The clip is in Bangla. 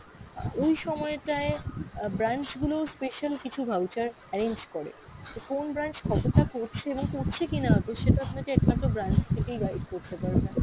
আহ ওই সময় টায়ে আহ branch গুলো special কিছু voucher arrange করে, তো কোন branch কতটা করছে এবং করছে কিনা তো সেটা আপনাকে একমাত্র branch থেকেই guide করতে পারবে।